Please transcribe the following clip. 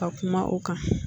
Ka kuma o kan